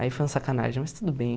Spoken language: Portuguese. Aí foi uma sacanagem, mas tudo bem.